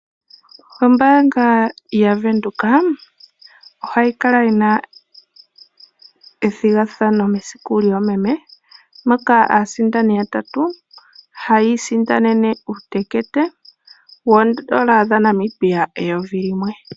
Ombaanga yaVenduka ohayi kala yi na ethigathano mesiku lyoomeme, moka aasindani yatatu haya isindanene uutekete wooN$ 1000.